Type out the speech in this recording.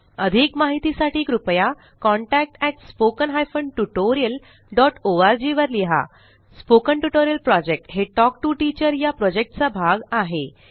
अधिक माहितीसाठी कृपया contact at spoken hyphen tutorial dot O R G वर लिहा स्पोकन ट्युटोरियल प्रॉजेक्ट हे टॉक टू टीचर या प्रॉजेक्टचा भाग आहे